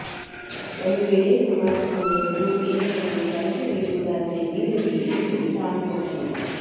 ಒಂದು ವೇಳೆ ಕುಮಾರಸ್ವಾಮಿ ಅವರು ಏನಾದರೂ ಸಲಹೆ ನೀಡುವುದಾದರೆ ನೀಡಲಿ ಎಂದು ಟಾಂಗ್ ಕೊಟ್ಟರು